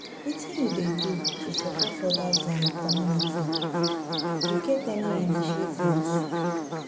Wetin you dey do to support odas in your community, you get any initiatives?